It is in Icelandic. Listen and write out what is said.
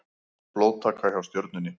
Blóðtaka hjá Stjörnunni